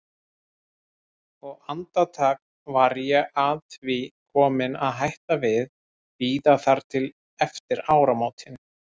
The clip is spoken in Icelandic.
Og andartak var ég að því komin að hætta við, bíða þar til eftir áramótin.